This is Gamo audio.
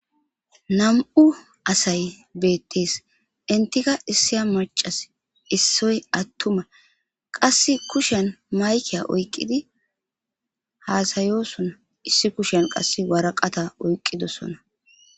Nam'u asay beettees intika issiya macas issoy attuma qasse kushen maykiya oykqidi haasayosona issi kushen qasse waraqata oyqqidosona.